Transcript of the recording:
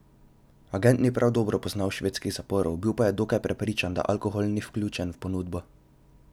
Agent ni prav dobro poznal švedskih zaporov, bil pa je dokaj prepričan, da alkohol ni vključen v ponudbo.